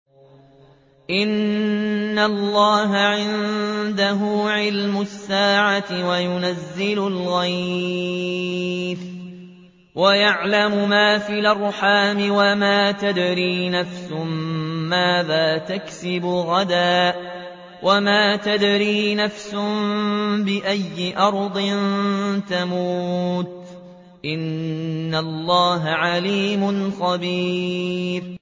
إِنَّ اللَّهَ عِندَهُ عِلْمُ السَّاعَةِ وَيُنَزِّلُ الْغَيْثَ وَيَعْلَمُ مَا فِي الْأَرْحَامِ ۖ وَمَا تَدْرِي نَفْسٌ مَّاذَا تَكْسِبُ غَدًا ۖ وَمَا تَدْرِي نَفْسٌ بِأَيِّ أَرْضٍ تَمُوتُ ۚ إِنَّ اللَّهَ عَلِيمٌ خَبِيرٌ